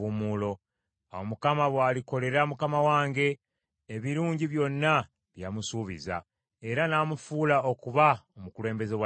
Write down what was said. Awo Mukama bw’alikolera mukama wange ebirungi byonna bye yamusuubiza, era n’amufuula okuba omukulembeze wa Isirayiri,